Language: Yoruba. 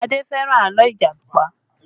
Adé fẹ́ràn àlọ́ Ìjàpá